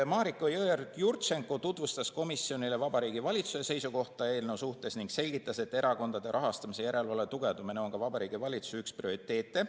Mariko Jõeorg-Jurtšenko tutvustas komisjonile Vabariigi Valitsuse seisukohta eelnõu suhtes ning selgitas, et erakondade rahastamise järelevalve tugevdamine on ka Vabariigi Valitsuse üks prioriteete.